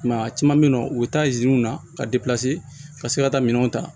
I m'a ye a caman bɛ yen nɔ u bɛ taa iziniw na ka ka se ka taa minɛnw ta